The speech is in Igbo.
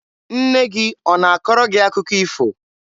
Nne gị ọ na-akọrọ gị akụkọ ifo?